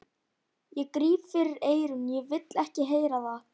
Ég gríp fyrir eyrun, ég vil ekki heyra það!